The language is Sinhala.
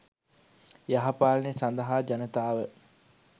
යහපාලනය සඳහා ජනතාව